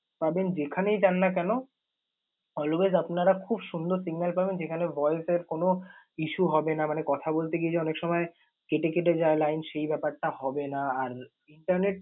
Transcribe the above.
পাবেন যেখানেই যান না কেন, always আপনারা খুব সুন্দর signal পাবেন। যেখানে voice এর কোন issue হবে না মানে কথা বলতে গিয়ে যে অনেক সময় কেটে কেটে যায় line সেই ব্যাপারটা হবে না। আর internet